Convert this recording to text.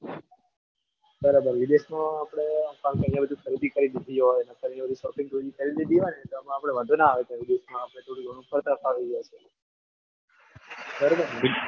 બરાબર વિદેશમાં આપણે બધું ખરીદી કરી દીધી હોય અને shopping થોડી કરી લીધી હોય ને તો વાંધો ના આવે આપણે થોડું ઘણું ફરતા ફાવી જાય બરાબરને?